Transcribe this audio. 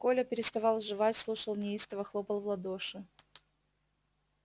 коля переставал жевать слушал неистово хлопал в ладоши